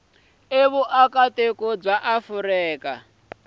hi vuakatiko bya afrika dzonga